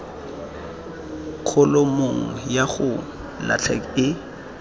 kholomong ya go latlha e